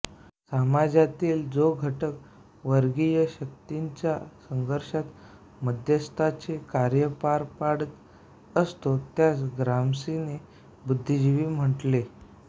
समाजातील जो घटक वर्गीय शक्तींच्या संघर्षात मध्यस्थाचे कार्य पार पाडीत असतो त्यास ग्राम्सीने बुद्धिजीवी म्हटले